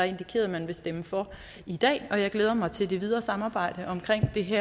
indikeret at man vil stemme for i dag jeg glæder mig til det videre samarbejde omkring det her